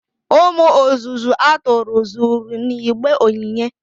umu ozuzu aturu zuru n'igbe onyinye